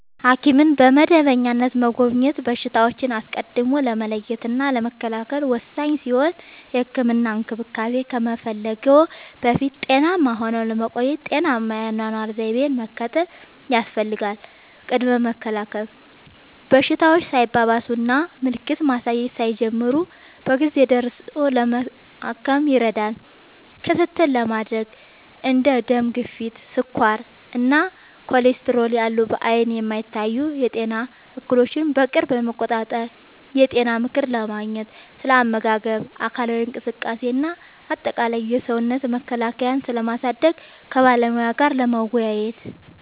ሐኪምን በመደበኛነት መጎብኘት በሽታዎችን አስቀድሞ ለመለየትና ለመከላከል ወሳኝ ሲሆን፥ የህክምና እንክብካቤ ከመፈለግዎ በፊት ጤናማ ሆነው ለመቆየት ጤናማ የአኗኗር ዘይቤን መከተል ያስፈልጋል። ቅድመ መከላከል፦ በሽታዎች ሳይባባሱና ምልክት ማሳየት ሳይጀምሩ በጊዜ ደርሶ ለማከም ይረዳል። ክትትል ለማድረግ፦ እንደ ደም ግፊት፣ ስኳር እና ኮሌስትሮል ያሉ በዓይን የማይታዩ የጤና እክሎችን በቅርብ ለመቆጣጠር። የጤና ምክር ለማግኘት፦ ስለ አመጋገብ፣ አካላዊ እንቅስቃሴ እና አጠቃላይ የሰውነት መከላከያን ስለማሳደግ ከባለሙያ ጋር ለመወያየት።